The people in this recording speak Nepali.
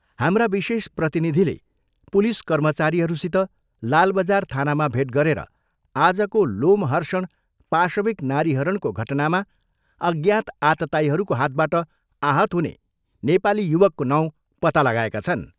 "हाम्रा विशेष प्रतिनिधिले पुलिस कर्मचारीहरूसित लालबजार थानामा भेट गरेर आजको लोमहर्षण पाशविक नारीहरणको घटनामा अज्ञात आततायीहरूको हातबाट आहत हुने नेपाली युवकको नाउँ पत्ता लाएका छन्।